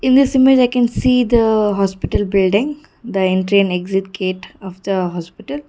this image i can see the hospital building the entry and exit gate of the hospital.